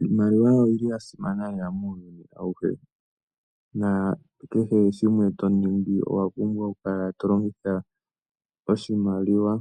Iimaliwa oyili ya simana lela muuyuni awuhe nakehe shimwe to longitua owa pumbwa oshimaliwa